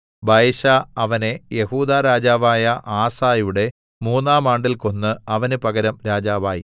ബയെശാ അവനെ യെഹൂദാ രാജാവായ ആസയുടെ മൂന്നാം ആണ്ടിൽ കൊന്ന് അവന് പകരം രാജാവായി